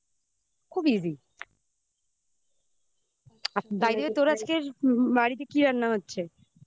খুব easy আর তোর বাড়িতে আজকের বাড়িতে কি রান্না হচ্ছে